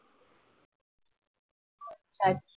ह्यास